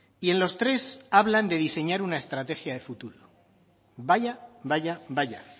y en los tres hablan de diseñar una estrategia de futuro vaya vaya